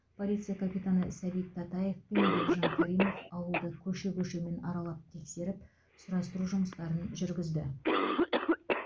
полиция капитаны сәбит татаев пен бекжан каримов ауылды көше көшемен аралап тексеріп сұрастыру жұмыстарын жүргізді